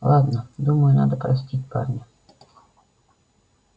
ладно думаю надо простить парня